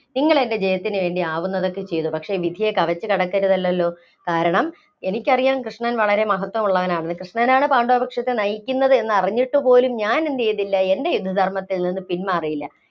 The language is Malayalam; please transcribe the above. നിങ്ങളെന്‍റെ ജയത്തിനുവേണ്ടി ആവുന്നതൊക്കെ ചെയ്തു. പക്ഷേ വിധിയെ കവച്ചു കടക്കരുതല്ലല്ലോ. കാരണം, എനിക്കറിയാം കൃഷ്ണന്‍ വളരെ മഹത്വമുള്ളവാണെന്ന്. കൃഷ്ണനാണ് പാണ്ഡവപക്ഷത്തെ നയിക്കുന്നത് എന്നറിഞ്ഞിട്ടുപോലും ഞാന്‍ എന്തു ചെയ്തില്ല എന്‍റെ യുദ്ധ ധര്‍മ്മത്തില്‍നിന്നും പിന്‍മാറിയില്ല.